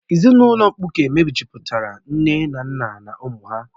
Ezinụlọ mkpuke mejupụtara nne na nna na ụmụ ha